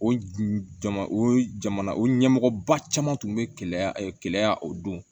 O jama o jamana o ɲɛmɔgɔba caman tun bɛ keleya o don